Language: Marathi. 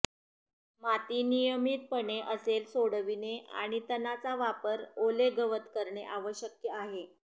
माती नियमितपणे असेल सोडविणे आणि तणाचा वापर ओले गवत करणे आवश्यक आहे